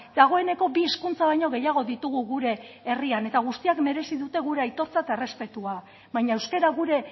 dagoeneko bi hizkuntza baino gehiago ditugu gure herrian eta guztiak merezi dute gure aitortza eta errespetua baina euskara gure